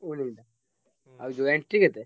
ହୁଁ ଆଉ ଯୋଉ entry କେତେ?